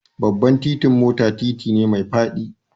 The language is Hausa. Babban titin mota titi ne mai faɗi